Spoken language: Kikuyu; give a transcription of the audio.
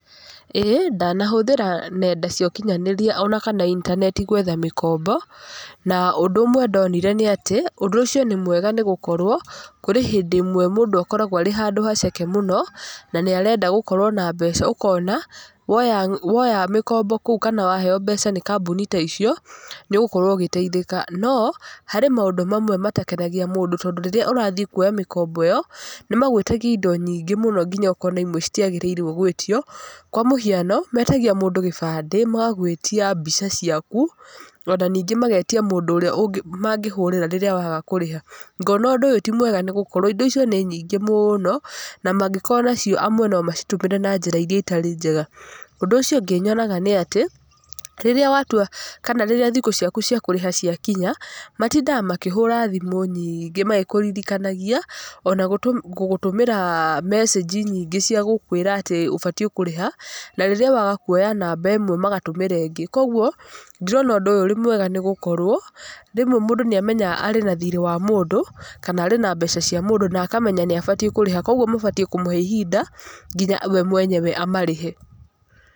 Ĩĩ ndanahũthĩra nenda cia ũkinyanĩria ona kana intaneti gwetha mĩkombo. Na ũndũ ũmwe ndonire nĩ atĩ, ũndũ ũcio nĩ mwega nĩgũkorwo kũrĩ hĩndĩ ĩmwe mũndũ akoragwo arĩ handũ haceke mũno na nĩ arenda gũkorwo na mbeca ũkona, woya mĩkombo kũu kana waheyo mbeca nĩ kambuni ta icio nĩũgũorwo ũgĩteithĩka. No harĩ maũndũ mamwe matakenagia mũndũ tondũ rĩrĩa ũrathiĩ kuoya mĩkombo ĩyo, nĩ magwĩtagia indo nyingĩ mũno nginya ũkona imwe citiagĩrĩirwo gwĩtio. Kwa mũhiano metagia mũndũ gĩbandĩ, magagwĩtia mbica ciaku, ona ningĩ magagwĩtia mũndũ ũrĩa mangĩhũrĩra rĩrĩa waga kũrĩha. Ngona ũndũ ũyũ ti mwega nĩ gũkorwo indo icio nĩ nyingĩ mũno, na mangĩkorwo nacio amwe no macitũmĩre na njĩra iria itarĩ njega. Ũndũ ũcio ũngĩ nyonaga nĩ atĩ rĩrĩa watua kana thikũ ciaku cia kũrĩha ciakinya, matindaga makĩhũra thimũ nyingĩ kana magĩkũririkanagia ona gũgũtũmĩra mecĩnji nyingĩ cia gũkwĩra atĩ ũbatiĩ kũrĩha, na rĩrĩa waga kuoya namba ĩmwe magatũmĩra ĩngĩ. Koguo ndirona ũndũ ũyũ wĩ mwega nĩ gũkorwo, rĩmwe mũndũ nĩamenyaga arĩ na thirĩ wa mũndũ kana arĩ na mbeca cia mũndũ na akamenya nĩ abatiĩ kũrĩha. Koguo mabatiĩ kũmũhe ihinda nginya we mwenyewe amarĩhe.